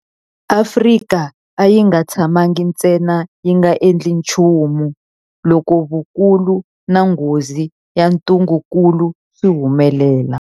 Afrika a yi nga tshamangi ntsena yi nga endli nchumu loko vukulu na nghozi ya ntungukulu swi humelela.